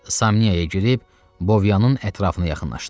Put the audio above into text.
Samniyaya girib Bovyanın ətrafına yaxınlaşdı.